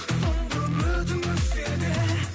соңғы үмітің өшсе де